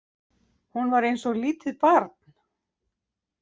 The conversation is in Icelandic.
Hún var eins og lítið barn.